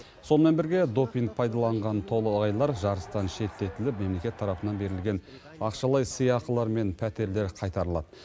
сонымен бірге допинг пайдаланған толағайлар жарыстан шеттетіліп мемлекет тарапынан берілген ақшалай сыйақылар мен пәтерлер қайтарылады